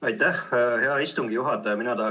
Aitäh, hea istungi juhataja!